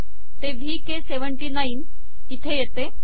ते वीके79 इथे येते